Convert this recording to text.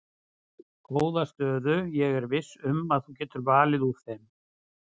Góða stöðu ég er viss um að þú getur valið úr þeim.